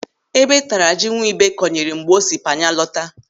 Ébé taara ji Nwibe kọnyere mgbe o Panya lọta.